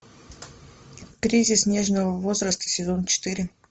кризис нежного возраста сезон четыре